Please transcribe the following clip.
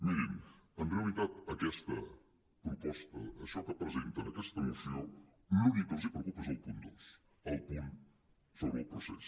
mirin en realitat aquesta proposta això que presenten aquesta moció l’únic que els preocupa és el punt dos el punt sobre el procés